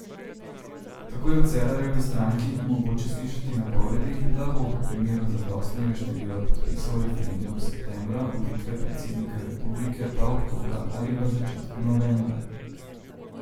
Tako je v Cerarjevi stranki mogoče slišati napovedi, da bo v primeru zadostnega števila podpisov referendum septembra, volitve predsednika republike pa oktobra ali v začetku novembra.